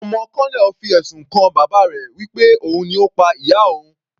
Ọmọ colonel fi ẹ̀sùn kan bàbá rẹ̀ wí pé òun ni Ó pa ìyá òun.